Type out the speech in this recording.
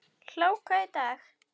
Hláka í dag.